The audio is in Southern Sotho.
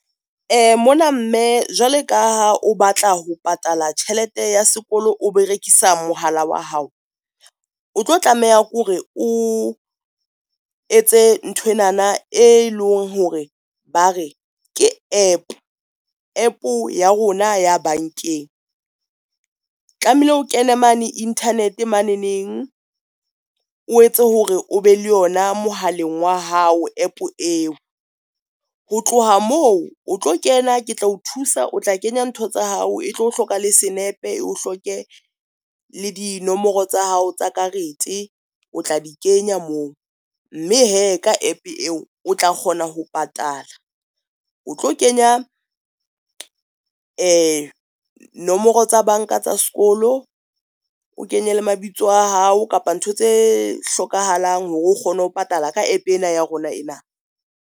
Mona mme jwale ka ha o batla ho patala tjhelete ya sekolo, o berekisa mohala wa hao, o tlo tlameha ke hore o etse nthwenana, e leng hore ba re ke app. App-o ya rona ya bankeng. Tlamehile o kene mane internet mane neng o etse hore o be le yona mohaleng wa hao app eo, ho tloha moo o tlo kena, ke tla o thusa, o tla kenya ntho tsa hao e tlo o hloka le senepe, e o hloke le dinomoro tsa hao tsa karete o tla di kenya moo. Mme he ka app eo, o tla kgona ho patala, o tlo kenya nomoro tsa banka tsa sekolo. O kenye le mabitso a hao kapa ntho tse hlokahalang hore o kgone ho patala ka app ena ya rona ena.